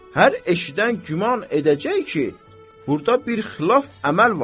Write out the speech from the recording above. Hər eşidən güman edəcək ki, burda bir xilaf əməl var.